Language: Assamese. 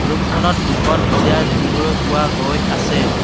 ৰুমখনত দুখন চিয়াৰ দেখিবলৈ পোৱা গৈ আছে।